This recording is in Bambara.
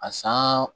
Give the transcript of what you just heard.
A san